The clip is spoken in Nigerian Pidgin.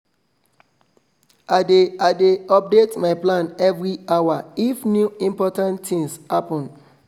i dey i dey update my plan every hour if new important things happen